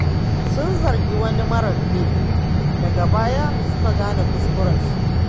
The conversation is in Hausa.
Sun zargi wani mara laifi, daga baya suka gane kuskurensu.